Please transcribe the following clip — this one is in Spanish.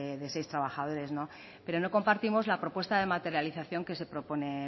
de seis trabajadores pero no compartimos la propuesta de materialización que se propone